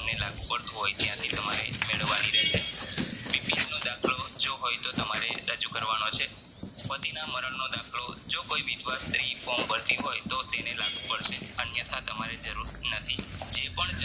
લાગુ પડતું હોય ત્યાંથી તમારે મેળવવાની રહેશે BPL નો દાખલો જો હોય તો તમારે રજુ કરવાનો છે પતિના મરણનો દાખલો જો કોઈ વિધવા સ્ત્રી form ભરતી હોય તોતેને લાગુ પડશે અન્યથા તમારે જરૂર નથી જે પણ